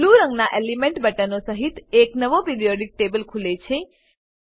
blue રંગનાં element બટનો સહીત એક નવો પીરિયોડિક ટેબલ ખુલે છે